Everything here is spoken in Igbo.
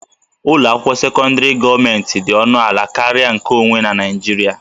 Ụlọ akwụkwọ sekọndrị gọọmentị dị ọnụ ala karịa nkeonwe na Naịjirịa